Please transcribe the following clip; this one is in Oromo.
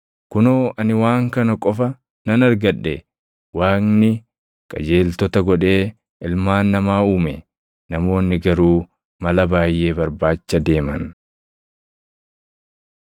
Kunoo ani waan kana qofa nan argadhe: Waaqni qajeeltota godhee ilmaan namaa uume; namoonni garuu mala baayʼee barbaacha deeman.”